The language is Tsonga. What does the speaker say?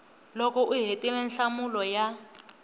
loko u hetile nhlamulo ya